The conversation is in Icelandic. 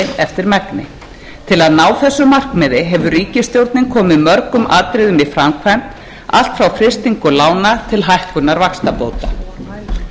eftir megni til að ná þessu markmiði hefur ríkisstjórnin komið mörgum atriðum í framkvæmd allt frá frystingu lána til hækkunar vaxtabóta fyrir utan framsóknarflokkinn og borgarahreyfinguna boðaði enginn